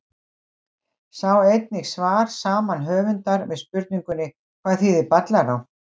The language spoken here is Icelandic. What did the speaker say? Sjá einnig svar saman höfundar við spurningunni Hvað þýðir Ballará?